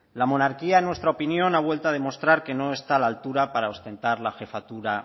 la monarquía en nuestra opinión ha vuelto a demostrar que no está a la altura para ostentar la jefatura